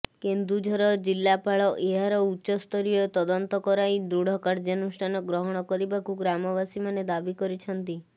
କେନ୍ଦୁଝର ଜିଲ୍ଲାପାଳ ଏହାର ଉଚ୍ଚ ସ୍ତରୀୟ ତଦନ୍ତ କରାଇ ଦୃଢ଼ କାର୍ଯ୍ୟାନୁଷ୍ଠାନ ଗ୍ରହଣ କରିବାକୁ ଗ୍ରାମବାସୀମାନେ ଦାବି କରିଛନ୍ତି